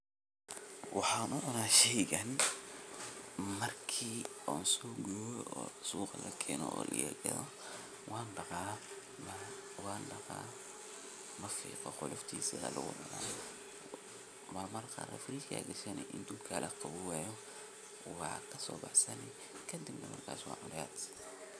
Waxan ucuna sheygan marki lasoguroo o suqa lakeno wandaqa o wancuna qoloftisa lamafiqo qoloftisa wa lagucuna marmarka qar ne frichka lagushta marku qawowo ba lacuna